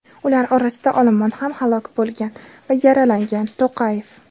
ular orasida olomon ham halok bo‘lgan va yaralangan – To‘qayev.